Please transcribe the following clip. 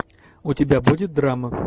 у тебя будет драма